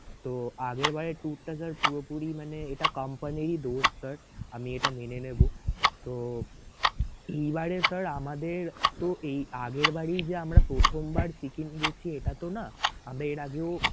তো আগেরবারের tour টা sir পুরোপুরি মানে এটা company ই দোষ sir আমি এটা মেনে নেবো so এইবারে sir আমাদের তো এই আগেরবারই যে আমরা প্রথমবার সিকিম গেছি এটাতো না আমরা এর আগেও